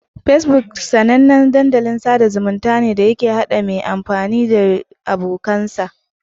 Facebook kafar sada zumunta ne da ke hada mai amfani dashi da abokansa